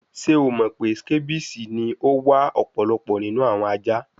Ṣe o mọ pe scabies ni o wa ọpọlọpọ ninu awọn aja?